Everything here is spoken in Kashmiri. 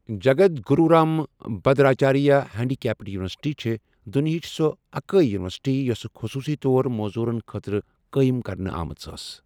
جگد گرو رام بھدراچاریہ ہینٛڈیکیپڈ یونیورسٹی چھےٚ دنیاہٕچ سۄ اکٲیہ یونیورسٹی یۄس خٔصوٗصی طور موذوٗرن خٲطرٕ قٲیم کرنہٕ آمٕژ ٲس۔